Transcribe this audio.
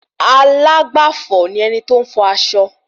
Alágbàfò ni ẹni tí óún fọ aṣọ